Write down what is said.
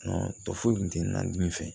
tɔ foyi kun tɛ na dimi fɛ